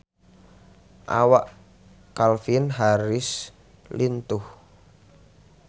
Awak Calvin Harris lintuh